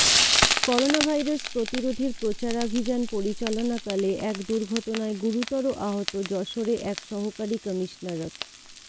coronavirus প্রতিরোধের প্রচারাভিযান পরিচালনাকালে এক দুর্ঘটনায় গুরুতর আহত যশোরে এক সহকারী কমিশনারক